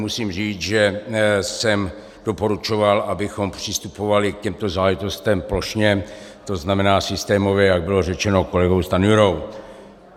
Musím říct, že jsem doporučoval, abychom přistupovali k těmto záležitostem plošně, to znamená systémově, jak bylo řečeno kolegou Stanjurou.